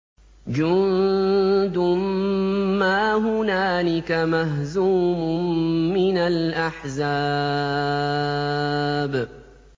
جُندٌ مَّا هُنَالِكَ مَهْزُومٌ مِّنَ الْأَحْزَابِ